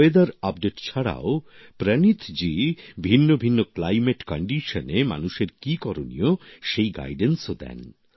আবহাওয়ার সর্বশেষ তথ্য ছাড়াও প্রনীথজী ভিন্ন ভিন্ন জলবায়ুর পরিস্থিতিতে মানুষের কি করনীয় সেই পরামর্শও দেন